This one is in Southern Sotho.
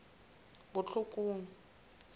botlhokong